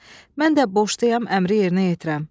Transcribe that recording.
Mən də borcluyam əmri yerinə yetirəm."